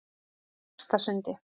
Efstasundi